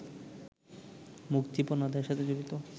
মুক্তিপণ আদায়ের সাথে জড়িত